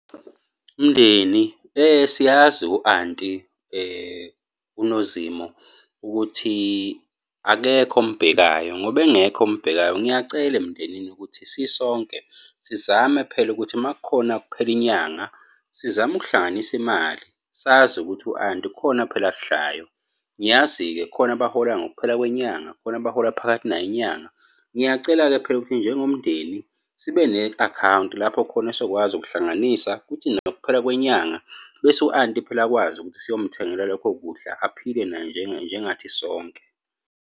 Mndeni, siyazi u-anti uNozinto ukuthi akekho omubhekayo, ngoba engekho omubhekayo ngiyacela emndenini ukuthi sisonke sizame phela ukuthi uma kukhona kuphela inyanga, sizame ukuhlanganisa imali, sazi ukuthi u-anti khona phela akudlayo. Ngiyazi-ke khona abahola ngokuphela kwenyanga, khona abahola phakathi nayo inyanga. Ngiyacela-ke phela ukuthi njengomndeni sibe ne-akhawunti lapho khona sokwazi ukuhlanganisa ukuthi nakho ukuphela kwenyanga bese u-anti phela akwazi ukuthi siyomuthengela lokho kudla aphile naye njengathi sonke.